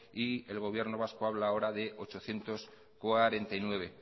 y el gobierno vasco habla ahora de ochocientos cuarenta y nueve